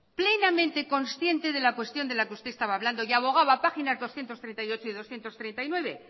plenamente consciente de la cuestión de la que estaba usted hablando y abogaba páginas doscientos treinta y ocho y doscientos treinta y nueve